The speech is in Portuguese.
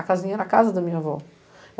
A casinha era a casa da minha avó.